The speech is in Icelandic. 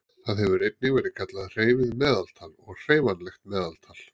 Það hefur einnig verið kallað hreyfið meðaltal og hreyfanlegt meðaltal.